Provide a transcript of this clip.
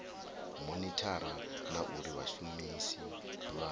monithara na uri vhashumisi vha